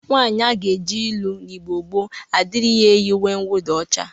Nwaanyị a ga-je ịlụ n'Igbo gboo adịrịghị eyi uwe nwụda ọcha.